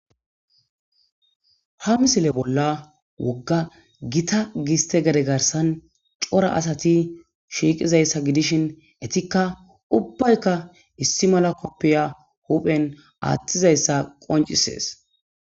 ha misile bolla wogga gita giste gade garsan cora asati shiiqizayssa gidishin etikka ubbaykka issi mala koppiya huphen aaththizayssa qoncisees